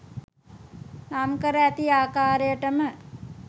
නම් කර ඇති ආකාරයටම